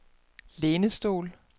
lænestol